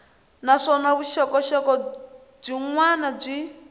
naswona vuxokoxoko byin wana byi